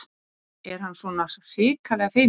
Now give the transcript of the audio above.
Er hann svona hrikalega feiminn?